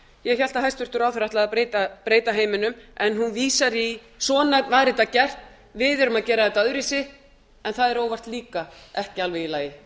ég hélt að hæstvirtur ráðherra ætlaði að breyta heiminum en hún vísar í svona var þetta gert við erum að gera þetta öðruvísi en það er óvart líka ekki alveg í lagi